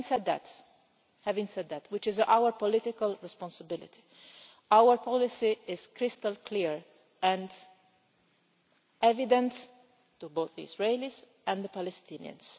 Having said that which is our political responsibility our policy is crystal clear and evident to both the Israelis and the Palestinians.